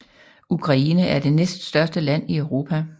Ukraine er det næststørste land i Europa